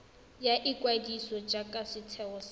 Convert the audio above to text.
ya ikwadiso jaaka setheo sa